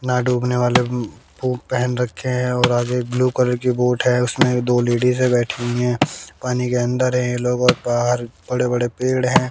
ना डूबने वाले बुट पहन रखे हैं और आगे ब्लू कलर की बोट है उसमें एक दो लेडिज है बैठी हुईं है पानी के अंदर है ये लोगों और बाहर बड़े बड़े पेड़ हैं।